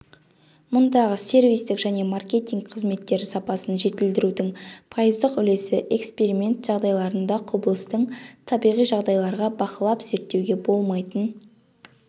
мұндағы сервистік және маркетинг қызметтері сапасын жетілдірудің пайыздық үлесі эксперимент жағдайларында құбылыстың табиғи жағдайларда бақылапзерттеуге болмайтын